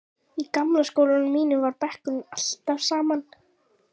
Í gamla skólanum mínum var bekkurinn alltaf allur saman.